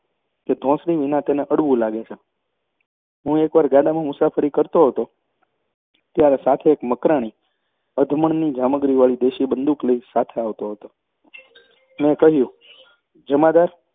કે ધોંસરી વિના તેને અડવું લાગે છે હું એક વાર ગાડામાં મુસાફરી કરતો હતો ત્યારે સાથે એક મકરાણી અધમણની જામગરીવાળી દેશી બંદૂક લઈ સાથે આવતો હતો મેં કહ્યું જમાદાર